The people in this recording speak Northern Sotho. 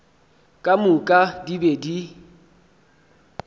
ka moka di be di